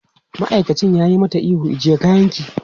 Ma'aikacin ya yi mata ihu, ajiye kayanki!